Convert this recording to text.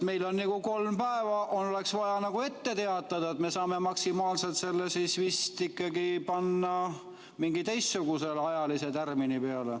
Meile oleks vaja kolm päeva ette teatada, nii et me saame maksimaalselt selle vist ikkagi panna mingi teistsuguse ajalise tärmini peale.